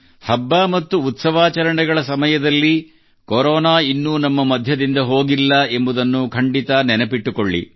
ಹಬ್ಬ ಮತ್ತು ಉತ್ಸವಾಚರಣೆಗಳ ಸಮಯದಲ್ಲಿ ಕೊರೋನಾ ಇನ್ನೂ ನಮ್ಮ ಮಧ್ಯದಿಂದ ಹೋಗಿಲ್ಲ ಎಂಬುದನ್ನು ಖಂಡಿತಾ ನೆನಪಿಟ್ಟುಕೊಳ್ಳಿ